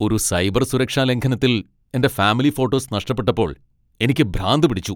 ഒരു സൈബർ സുരക്ഷാ ലംഘനത്തിൽ എന്റെ ഫാമിലി ഫോട്ടോസ് നഷ്ടപ്പെട്ടപ്പോൾ എനിക്ക് ഭ്രാന്ത് പിടിച്ചു.